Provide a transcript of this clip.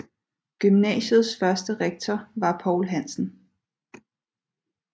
Gymnasiets første rektor var Poul Hansen